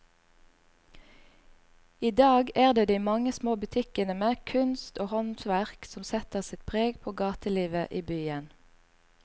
I dag er det de mange små butikkene med kunst og håndverk som setter sitt preg på gatelivet i byen.